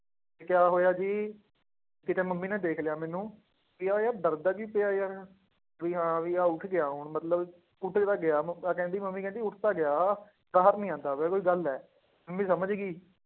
ਕਿਆ ਹੋਇਆ ਜੀ ਕਿਤੇ ਮੰਮੀ ਨੇ ਦੇਖ ਲਿਆ ਮੈਨੂੰ, ਵੀ ਆਹ ਯਾਰ ਡਰਦਾ ਕਿਉਂ ਪਿਆ ਯਾਰ, ਵੀ ਹਾਂ ਵੀ ਆਹ ਉੱਠ ਗਿਆ ਹੁਣ ਮਤਲਬ ਉੱਠ ਤਾਂ ਗਿਆ ਮੰਮਾ ਕਹਿੰਦੀ ਮੰਮੀ ਕਹਿੰਦੀ ਉੱਠ ਤਾਂ ਗਿਆ ਬਾਹਰ ਨੀ ਆਉਂਦਾ ਪਿਆ ਕੋਈ ਗੱਲ ਹੈ, ਮੰਮੀ ਸਮਝ ਗਈ